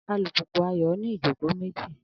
Alùpùpù Ayọ̀ ní ìjókòó méjì